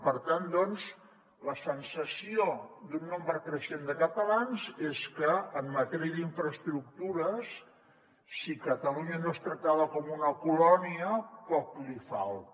per tant doncs la sensació d’un nombre creixent de catalans és que en matèria d’infraestructures si catalunya no és tractada com una colònia poc li falta